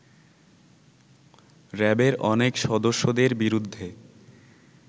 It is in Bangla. র‍্যাবের অনেক সদস্যদের বিরুদ্ধে